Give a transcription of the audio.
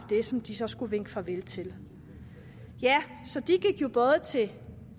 det som de så skulle vinke farvel til så de gik jo både til